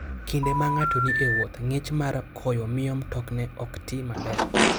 Kinde ma ng'ato ni e wuoth, ng'ich mar koyo miyo mtokne ok ti maber.